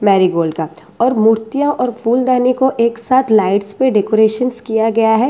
Marie Gold का और मूर्तियां और फूलदानी को एक साथ लाइट्स पर डेकोरेशंस किया गया है।